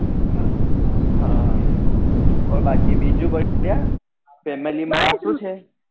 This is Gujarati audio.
હા બોલ બાકી બીજું કોઈ છે family માં શું છે